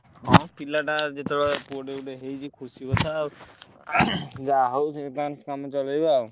ହଁ ପିଲାଟା ଯେତେବେଳେ ହେଇଛି ପୁଅଟେ ହେଇଛି ଖୁସି କଥା ଯାହା ହଉ ତାଙ୍କର କାମ ଚଳେଇଲା ଆଉ।